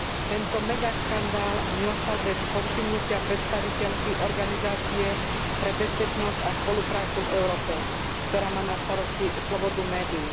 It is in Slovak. Tento megaškandál neostal bez povšimnutia predstaviteľky Organizácie pre bezpečnosť a spoluprácu v Európe, ktorá má na starosti slobodu médií.